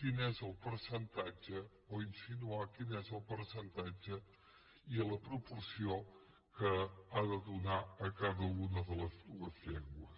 quin és el percentatge o insinuar quins són el percentatge i la proporció que ha de donar a cada una de les dues llengües